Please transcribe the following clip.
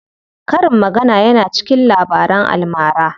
Karin magana yana cikin Labaran almara.